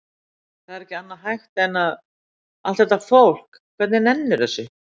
Það er ekki annað hægt en að. allt þetta fólk, hvernig nennir það þessu?